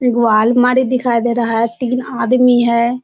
एगो अलमारी दिखाई दे रहा है तीन आदमी है।